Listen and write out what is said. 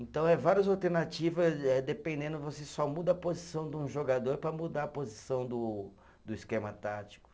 Então eh, várias alternativa eh, dependendo, você só muda a posição de um jogador para mudar a posição do do esquema tático.